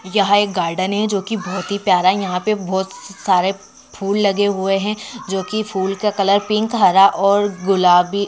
यह गार्डन है जो की बहुत ही प्यारा-- यहां पर बहुत स्सा -सार फूल लगे हुए हैं जो की फुल का कलर पिंक हरा और गुलाबी--